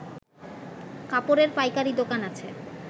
কাপড়ের পাইকারি দোকান আছে